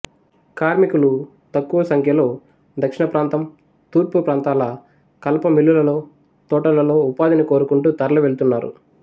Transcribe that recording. కార్మికులు తక్కువసంఖ్యలో దక్షిణప్రాతం తూర్పుప్రాంతాల కలప మిల్లులలో తోటలలో ఉపాధిని కోరుకుంటూ తరలి వెళుతున్నారు